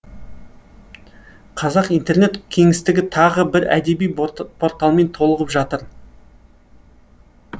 қазақ интернет кеңістігі тағы бір әдеби портал порталмен толығып жатыр